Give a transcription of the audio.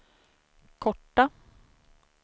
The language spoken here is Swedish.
korta